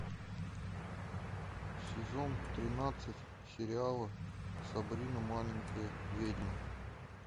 сезон тринадцать сериала сабрина маленькая ведьма